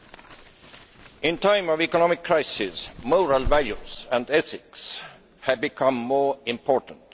At a time of economic crisis, moral values and ethics have become more important.